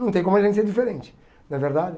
Não tem como a gente ser diferente, não é verdade?